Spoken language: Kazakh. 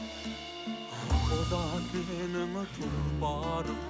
ақ боз ат менің тұлпарым